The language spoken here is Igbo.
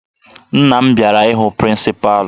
Nna m bịara ịhụ prịncịpalụ